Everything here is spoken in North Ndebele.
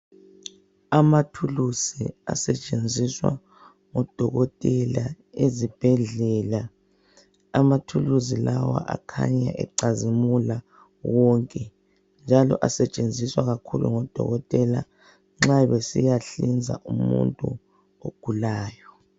Amathulusi asentshenziswa ngodokotela ezibhedlela , amathulusi lawa akhanya ecazimula onke njalo asentshenziswa kakhulu ngodokotela nxa besiya hlinza umuntu ogulayo.